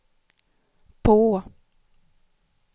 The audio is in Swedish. på